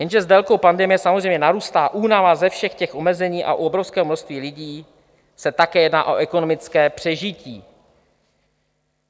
Jenže s délkou pandemie samozřejmě narůstá únava ze všech těch omezení a u obrovského množství lidí se také jedná o ekonomické přežití.